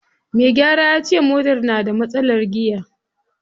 Me gyara yace motar na da matsalar giya.